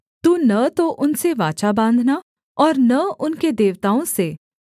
तू न तो उनसे वाचा बाँधना और न उनके देवताओं से